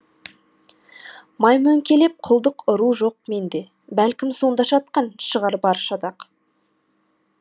маймөңкелеп құлдық ұру жоқ менде бәлкім сонда жатқан шығарбар шатақ